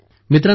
मित्रांनो